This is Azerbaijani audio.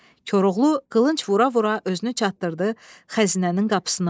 Koroğlu qılınc vura-vura özünü çatdırdı xəzinənin qapısına.